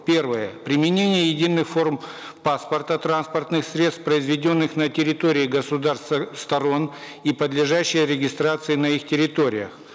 первое применение единых форм паспорта транспортных средств произведенных на территории государств э сторон и подлежащее регистрации на их территориях